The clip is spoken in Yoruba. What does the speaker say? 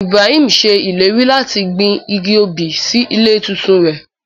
Ibrahim ṣe ileri lati gbin igi obí si ile titun rẹ.